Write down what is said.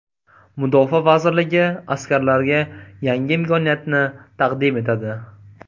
Mudofaa vazirligi askarlarga yangi imkoniyatni taqdim etadi.